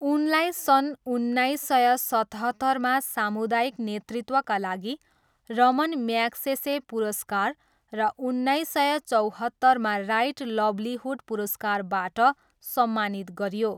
उनलाई सन् उन्नाइस सय सतहत्तरमा सामुदायिक नेतृत्वका लागि रमन म्याग्सेसे पुरस्कार र उन्नाइस सय चौहत्तरमा राइट लाइभ्लिहुड पुरस्कारबाट सम्मानित गरियो।